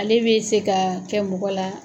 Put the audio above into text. Ale bɛ se ka kɛ mɔgɔ la.